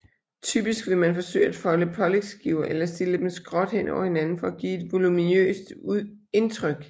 Typisk vil man forsøge at folde pålægsskiver eller stille dem skråt hen over hinanden for at give et voluminøst indtryk